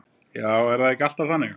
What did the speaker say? Já, er það ekki alltaf þannig?